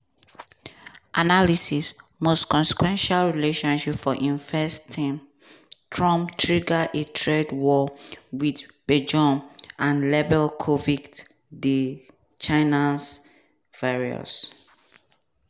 analysis: most consequential relationship for im first term trump trigger a trade war wit beijing and label covid di "chinese virus".